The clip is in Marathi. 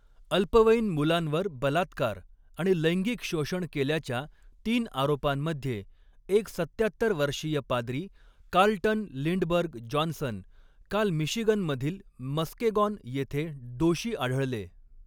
अल्पवयीन मुलांवर बलात्कार आणि लैंगिक शोषण केल्याच्या तीन आरोपांमध्ये, एक सत्त्यात्तर वर्षीय पाद्री, कार्लटन लिंडबर्ग जॉन्सन, काल मिशिगनमधील मस्केगॉन येथे दोषी आढळले.